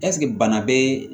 Ɛseke bana bɛ